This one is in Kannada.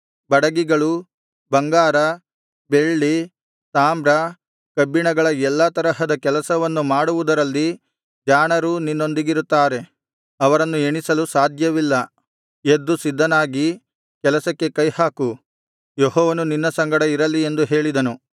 ಬಡಗಿಗಳೂ ಬಂಗಾರ ಬೆಳ್ಳಿ ತಾಮ್ರ ಕಬ್ಬಿಣಗಳ ಎಲ್ಲಾ ತರಹದ ಕೆಲಸವನ್ನು ಮಾಡುವುದರಲ್ಲಿ ಜಾಣರು ನಿನ್ನೊಂದಿಗಿರುತ್ತಾರೆ ಅವರನ್ನು ಎಣಿಸಲು ಸಾಧ್ಯವಿಲ್ಲ ಎದ್ದು ಸಿದ್ಧನಾಗಿ ಕೆಲಸಕ್ಕೆ ಕೈ ಹಾಕು ಯೆಹೋವನು ನಿನ್ನ ಸಂಗಡ ಇರಲಿ ಎಂದು ಹೇಳಿದನು